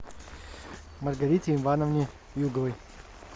маргарите ивановне юговой